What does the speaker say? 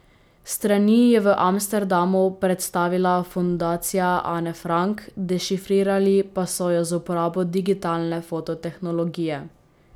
Strani je v Amsterdamu predstavila Fundacija Ane Frank, dešifrirali pa so ju z uporabo digitalne foto tehnologije.